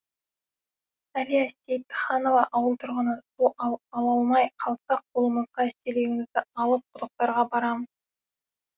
әлия сейітханова ауыл тұрғыны су ала алмай қалсақ қолымызға шелегімізді алып құдықтарға барамыз